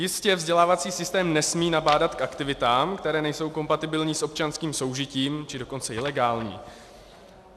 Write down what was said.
Jistě, vzdělávací systém nesmí nabádat k aktivitám, které nejsou kompatibilní s občanským soužitím, či dokonce ilegální.